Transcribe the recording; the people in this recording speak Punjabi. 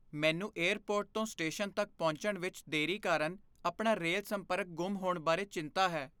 ਮੈਨੂੰ ਏਅਰਪੋਰਟ ਤੋਂ ਸਟੇਸ਼ਨ ਤੱਕ ਪਹੁੰਚਣ ਵਿੱਚ ਦੇਰੀ ਕਾਰਨ ਆਪਣਾ ਰੇਲ ਸੰਪਰਕ ਗੁੰਮ ਹੋਣ ਬਾਰੇ ਚਿੰਤਾ ਹੈ।